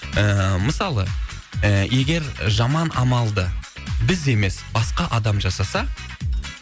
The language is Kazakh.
ііі мысалы і егер жаман амалды біз емес басқа адам жасаса